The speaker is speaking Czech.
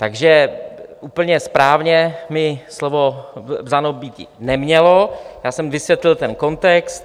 Takže úplně správně mi slovo vzato býti nemělo, já jsem vysvětlil ten kontext.